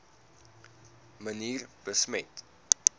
manier besmet